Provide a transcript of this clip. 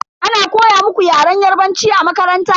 Ana koya muku Yaren yarbanci a makaranta?